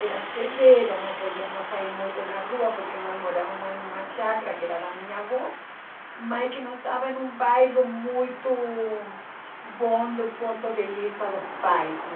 Eram severos, não podíamos sair muito na rua porque nós morávamos em uma chácara que era da minha avó, mas que não estava em um bairro muito bom do ponto de vista dos pais, né?